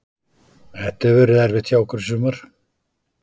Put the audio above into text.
Þetta hefur verið erfitt hjá okkur í sumar.